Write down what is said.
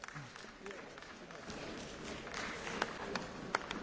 Ich versuche einmal, herauszukondensieren, was zur Geschäftsordnung war.